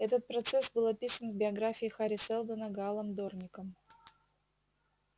этот процесс был описан в биографии хари сэлдона гаалом дорником